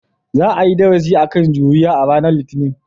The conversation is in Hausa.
Za a yi darasi kan juriya a ranar Litinin.